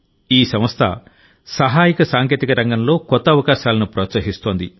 ఈ సంస్థ సహాయక సాంకేతిక రంగంలో కొత్త అవకాశాలను ప్రోత్సహిస్తోంది